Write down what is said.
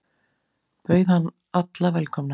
Bauð hann alla velkomna.